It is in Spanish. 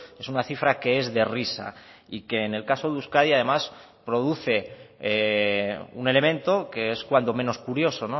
es una cifra que es de risa y que en el caso de euskadi además produce un elemento que es cuando menos curioso